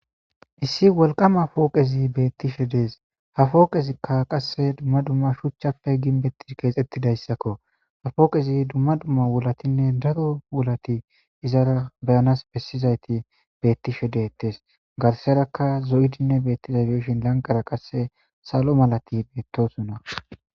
Issi woliqama foqez betishe des. ha foqezika qase duma duma suchappe ginbetid kexetidayisako foqez duma duma wulat daro wulat izara be7ana besizayit betishe detes garisera zo7idine betishe de7izay dishin laniqerq qas salo malatiya betosona.